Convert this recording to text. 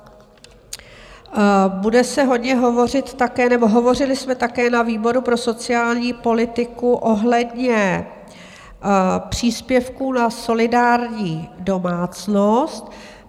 Bude se hodně hovořit také, nebo hovořili jsme také na výboru pro sociální politiku ohledně příspěvků na solidární domácnost.